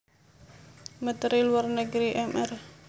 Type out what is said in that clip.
Menteri Luar negeri Mr